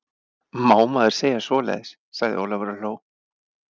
Má maður segja svoleiðis? sagði Ólafur og hló.